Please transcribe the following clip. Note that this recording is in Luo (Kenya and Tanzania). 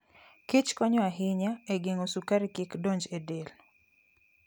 kich konyo ahinya e geng'o sukari kik donj e del.